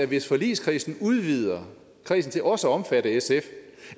hvis forligskredsen udvider kredsen til også at omfatte sf